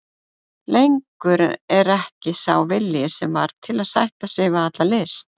Lengur er ekki sá vilji sem var til að sætta sig við alla list.